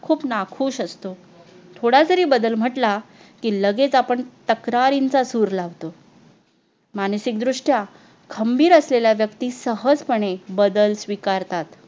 खूप ना खुश असतो थोडा जरी बदल म्हटला की लगेच आपण तक्रारींचा चूर लावतो मानसिक दृष्ट्या खंबीर असलेल्या व्यक्ती सहजपणे बदल स्वीकारतात